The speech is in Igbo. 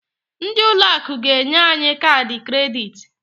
Ndị ụlọ akụ ga-enye anyị kaadị kredit.